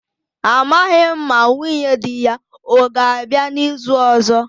amaghim ma nwunye di ya o ga-abia n'izu ozo